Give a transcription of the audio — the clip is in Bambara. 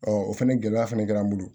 o fɛnɛ gɛlɛya fɛnɛ kɛra an bolo